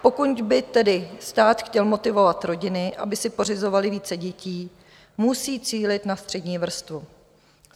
Pokud by tedy stát chtěl motivovat rodiny, aby si pořizovaly více dětí, musí cílit na střední vrstvu.